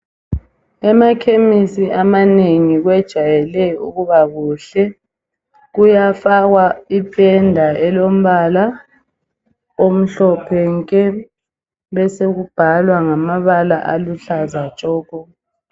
Emakhemisi amanengi kwejayele ukuba kuhle. Kuyafakwa ipenda elombala omhlophe nke, besokubhalwa ngamabala aluhlaza tshoko.